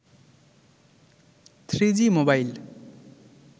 3g mobile